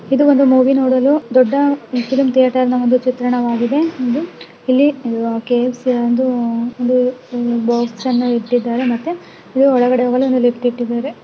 ಇದು ಒಂದು ಮೂವಿ ನೋಡಲು ದೊಡ್ಡ ಒಂದು ಫಿಲಂ ಥೇಟರ್ ನಒಂದು ಚಿತ್ರಣವಾಗಿದೆ ಇಲ್ಲಿ ಕೆ_ ಎಫ್_ ಸಿ ಒಂದು ಅದ್ ಒಂದು ಬಾಕ್ಸ್ ಅನ್ನು ಇಟ್ಟಿದ್ದಾರೆ ಮತ್ತೆ ಒಳಗಡೆ ಹೋಗಲು ಒಂದು ಲಿಫ್ಟ್ ಇಟ್ಟಿದ್ದಾರೆ.